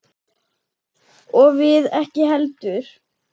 Og við ekki heldur.